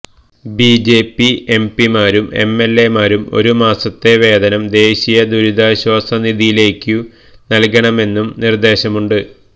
BJP എംപിമാരും എംഎൽഎമാരും ഒരു മാസത്തെ വേതനം ദേശിയ ദുരിതാശ്വസ നിധിയിലേക്ക് നല്കണമെന്നും നിർദേശമുണ്ട്